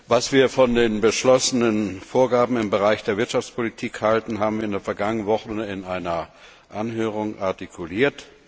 Was wir von den beschlossenen Vorgaben im Bereich der Wirtschaftspolitik halten, haben wir in der vergangenen Woche in einer Anhörung artikuliert.